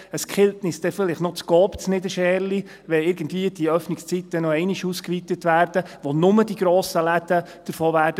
Es killt uns dann vielleicht noch die Coopfiliale in Niederscherli, wenn die Öffnungszeiten noch einmal irgendwie ausgeweitet werden, wovon nur die grossen Läden profitieren werden.